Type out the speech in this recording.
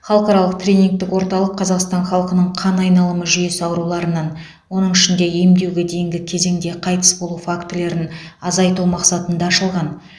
халықаралық тренингтік орталық қазақстан халқының қан айналымы жүйесі ауруларынан оның ішінде емдеуге дейінгі кезеңде қайтыс болу фактілерін азайту мақсатында ашылған